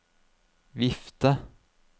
vifte